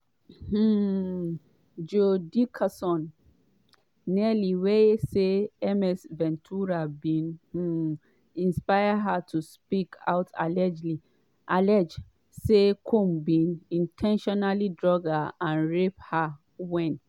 um joi dickerson-neal wey say ms ventura bin um inspire her to speak out allege say combs bin "in ten tionally drug" and rape her wen